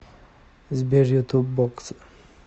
сбер ютуб боксер